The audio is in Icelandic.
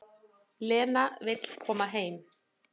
Lena vill koma heim.